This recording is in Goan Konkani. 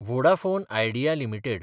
Vodafone Idea limited